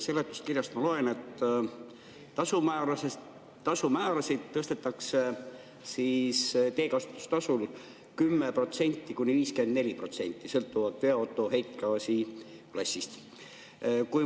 Seletuskirjast ma loen, et tasumäärasid tõstetakse teekasutustasul 10–54% sõltuvalt veoauto heitgaasiklassist.